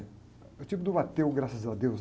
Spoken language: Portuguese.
É o tipo do ateu, graças a Deus.